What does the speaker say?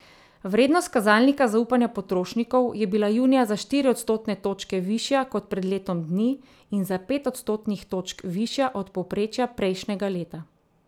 Vrednost kazalnika zaupanja potrošnikov je bila junija za štiri odstotne točke višja kot pred letom dni in za pet odstotnih točk višja od povprečja prejšnjega leta.